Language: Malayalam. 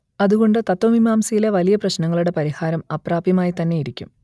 അതുകൊണ്ട് തത്ത്വമീമാംസയിലെ വലിയ പ്രശ്നങ്ങളുടെ പരിഹാരം അപ്രാപ്യമായിത്തന്നെയിരിക്കും